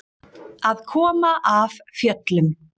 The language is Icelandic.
Að koma af fjöllum